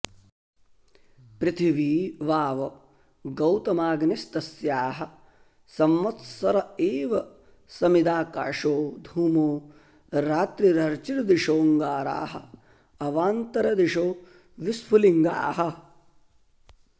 पृथिवी वाव गौतमाग्निस्तस्याः संवत्सर एव समिदाकाशो धूमो रात्रिरर्चिर्दिशोऽङ्गारा अवान्तरदिशो विस्फुलिङ्गाः